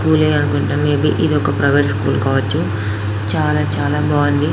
school అనుకుంటా maybe ఇదొక private school కావచ్చు చాల చాల బాగుంది--